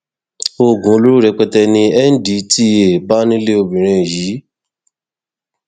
oògùn olóró rẹpẹtẹ ni ndtea bá nílé obìnrin yìí